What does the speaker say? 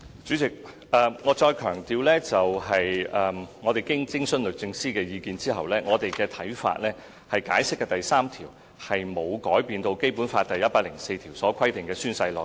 主席，我要強調，經徵詢律政司意見後，我們的看法是《解釋》的第三條沒有改變《基本法》第一百零四條所規定的宣誓內容。